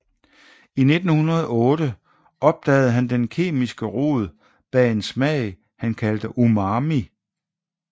I 1908 opdagede han den kemiske rod bag en smag han kaldte umami